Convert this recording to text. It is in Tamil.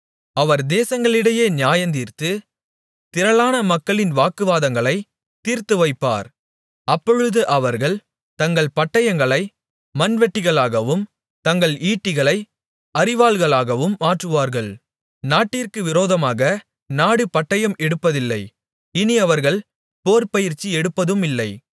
அவர் தேசங்களிடையே நியாயந்தீர்த்து திரளான மக்களின் வாக்குவாதங்களைத் தீர்த்துவைப்பார் அப்பொழுது அவர்கள் தங்கள் பட்டயங்களை மண்வெட்டிகளாகவும் தங்கள் ஈட்டிகளை அரிவாள்களாகவும் மாற்றுவார்கள் நாட்டிற்கு விரோதமாக நாடு பட்டயம் எடுப்பதில்லை இனி அவர்கள் போர்ப்பயிற்சி எடுப்பதுமில்லை